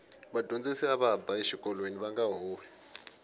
vadyondzisi ava ba exikolweni vanga huhwi